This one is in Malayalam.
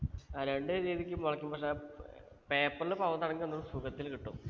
ആ രണ്ട് രീതിക്കും മുളക്കും പക്ഷെ ആ paper ൽ പാവുന്നതാണെങ്കിൽ ഒന്നൂടി സുഖത്തിൽ കിട്ടും